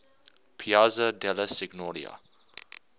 piazza della signoria